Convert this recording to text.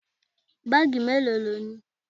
Báàgì melo lónìí?